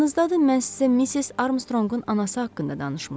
Yadınızdadır, mən sizə Missis Armstrongun anası haqqında danışmışdım.